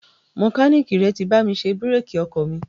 Mẹkáníìkì rẹ ti bá mi ṣe bírèkì ọkọ̀ mi.